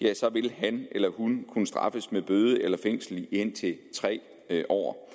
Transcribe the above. ja så vil han eller hun kunne straffes med bøde eller med fængsel i indtil tre år